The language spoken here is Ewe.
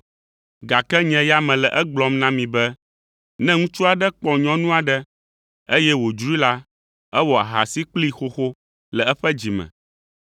gake nye ya mele egblɔm na mi be, ne ŋutsu aɖe kpɔ nyɔnu aɖe, eye wòdzroe la, ewɔ ahasi kplii xoxo le eƒe dzi me.